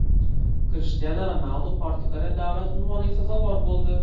Krishtianu Ronaldu Portugaliya davlat unvoniga sazovor bo‘ldi .